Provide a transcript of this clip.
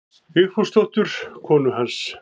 Vigfúsdóttur konu hans.